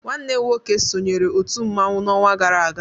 Nwanne m nwoke sonyeere otu mmanwụ n'ọnwa gara aga.